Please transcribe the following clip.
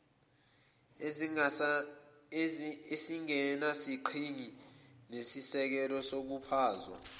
ezingenasigqi nasisekelo ukusaphazwa